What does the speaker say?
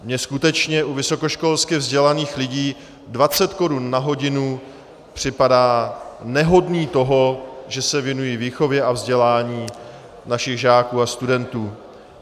Mně skutečně u vysokoškolsky vzdělaných lidí 20 korun na hodinu připadá nehodné toho, že se věnují výchově a vzdělání našich žáků a studentů.